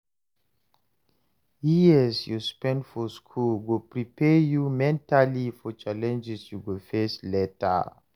Years you spend for School go prepare you mentally for challenges you go face later.